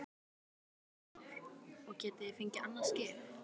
Kristján Már: Og getið þið fengið annað skip?